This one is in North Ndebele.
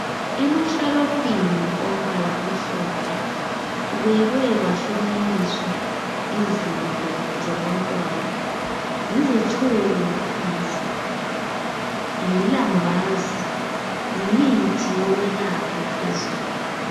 Emashelufini ombala omhlophe kubekwe kwahlukaniswa izinto zabantwana yizitshubo phansi lilambazi yimithi yokwelapha phezulu.